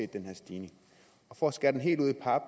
den her stigning og for at skære den helt ud i pap